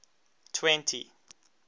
twenty